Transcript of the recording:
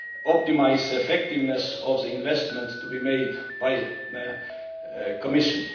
optimise effectiveness of the investments to be made by the Commission.